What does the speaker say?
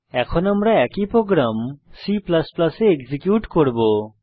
এখন আমরা একই প্রোগ্রাম C এ এক্সিকিউট করব